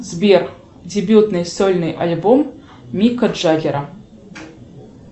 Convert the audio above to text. сбер дебютный сольный альбом мика джаггера